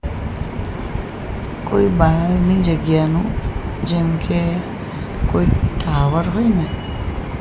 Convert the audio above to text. કોઇ બારની જગ્યાનું જેમકે કોઇ ટાવર હોઇ ને --